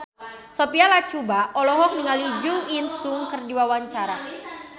Sophia Latjuba olohok ningali Jo In Sung keur diwawancara